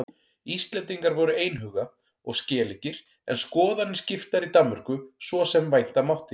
Íslendingar voru einhuga og skeleggir en skoðanir skiptar í Danmörku svo sem vænta mátti.